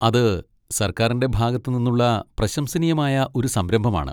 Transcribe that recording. അത് സർക്കാരിൻ്റെ ഭാഗത്ത് നിന്നുള്ള പ്രശംസനീയമായ ഒരു സംരംഭമാണ്.